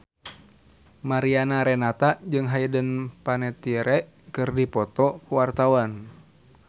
Mariana Renata jeung Hayden Panettiere keur dipoto ku wartawan